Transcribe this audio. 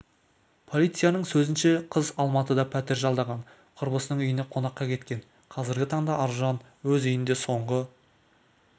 полицияның сөзінше қыз алматыда пәтер жалдаған құрбысының үйіне қонаққа кеткен қазіргі таңда аружан өз үйінде соңғы